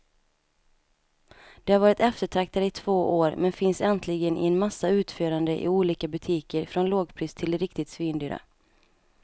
De har varit eftertraktade i två år, men finns äntligen i en massa utföranden i olika butiker från lågpris till riktigt svindyra.